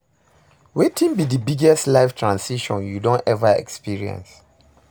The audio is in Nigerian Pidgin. Wetin be di biggest life transition you don ever experience?